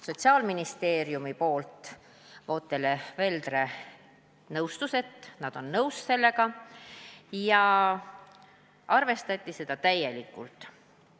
Sotsiaalministeeriumit esindanud Vootele Veldre teatas, et nad on sellega nõus, ja seda ettepanekut arvestati täielikult.